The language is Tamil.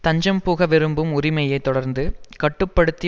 தஞ்சம்புக விரும்பும் உரிமையை தொடர்ந்து கட்டு படுத்தி